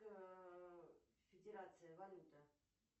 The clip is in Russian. федерация валюта